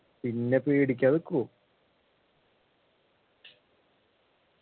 പിന്നെ പേടിക്കാതിക്കോ